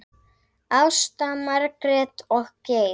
Ásta, Margrét og Geir.